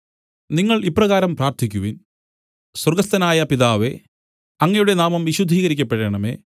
നിങ്ങൾ ഇപ്രകാരം പ്രാർത്ഥിക്കുവിൻ സ്വർഗ്ഗസ്ഥനായ പിതാവേ അങ്ങയുടെ നാമം വിശുദ്ധീകരിക്കപ്പെടേണമേ